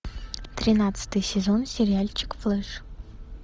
тринадцатый сезон сериальчик флэш